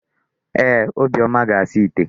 Ee, Obiọma ga-asa ite.